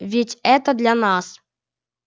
ведь это для нас